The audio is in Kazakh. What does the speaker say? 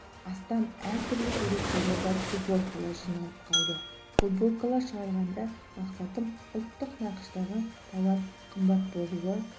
астам әртүрлі суреттері бар футболкалар жиналып қалды футболкалар шығарғандағы мақсатым ұлттық нақыштағы тауар қымбат болуы